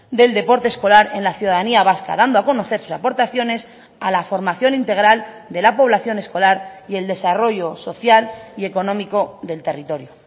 del deporte escolar en la ciudadanía vasca dando a conocer sus aportaciones a la formación integral de la población escolar y el desarrollo social y económico del territorio